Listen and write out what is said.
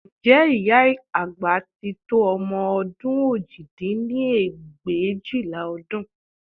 Ǹjẹ́ ìyá àgbà tí tó ọmọ òjì dín ní ẹgbẹ̀éjìlá ọdún